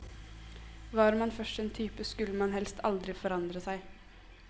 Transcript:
Var man først en type, skulle man helst aldri forandre seg.